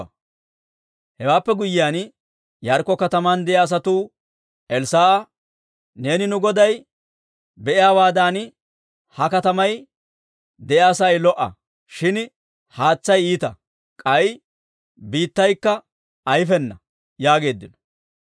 Hewaappe guyyiyaan, Yaarikko kataman de'iyaa asatuu Elssaa'a, «Neeni nu goday be'iyaawaadan ha katamay de'iyaa sa'ay lo"a. Shin haatsay iita; k'ay biittaykka ayfena» yaageeddino.